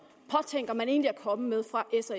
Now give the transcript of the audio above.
påtænker man egentlig at komme med fra